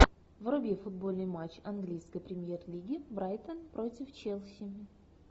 вруби футбольный матч английской премьер лиги брайтон против челси